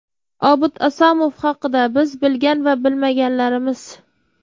Obid Asomov haqida biz bilgan va bilmaganlarimiz.